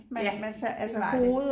Ja det var det